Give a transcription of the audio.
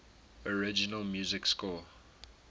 original music score